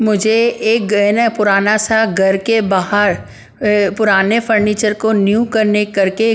' मुझे एक ग्रैन है पुराना सा घर के बाहर अह पुराने फर्नीचर को न्यू करने कर के --